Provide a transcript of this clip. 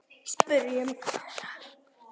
Spyrjum Kára.